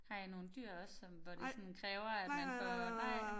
Har I nogle dyr også sådan hvor det sådan kræver at man får nej